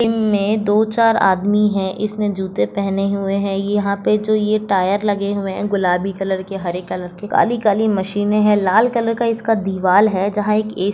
Gym मे दो चार आदमी है इसने जूते पहने हुए है यहा पे जो ये टायर लगे हुए है गुलाबी कलर के हरे कलर के काली-काली मशीने है लाल कलर का इसका दीवाल है जहा एक ए.सी. --